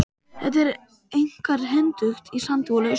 Þetta er einkar hentugt í sandi og lausum jarðlögum.